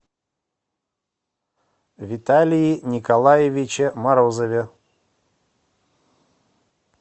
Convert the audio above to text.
виталии николаевиче морозове